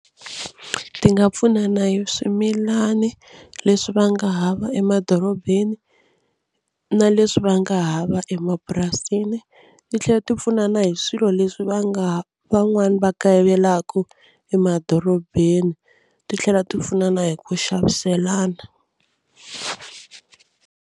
Ti nga pfuna na hi swimilani leswi va nga hava emadorobeni na leswi va nga hava emapurasini. Ti tlhela ti pfuna na hi swilo leswi va nga van'wani va kayivelaka emadorobeni ti tlhela ti pfuna na hi ku xaviselana.